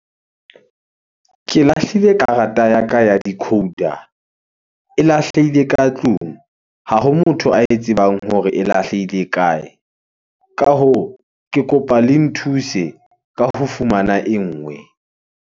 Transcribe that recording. Ke lahlile karata ya ka ya decoder. E lahlehile ka tlung. Ha ho motho ae tsebang hore e lahlehile kae? Ka hoo, ke kopa le nthuse ka ho fumana e nngwe.